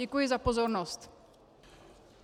Děkuji za pozornost.